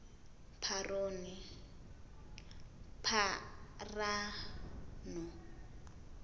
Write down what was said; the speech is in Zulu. pharano